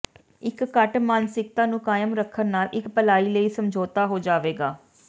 ਇਕ ਘੱਟ ਮਾਨਸਿਕਤਾ ਨੂੰ ਕਾਇਮ ਰੱਖਣ ਨਾਲ ਇਕ ਭਲਾਈ ਲਈ ਸਮਝੌਤਾ ਹੋ ਜਾਵੇਗਾ